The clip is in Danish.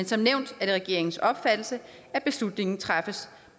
som nævnt regeringens opfattelse at beslutningen træffes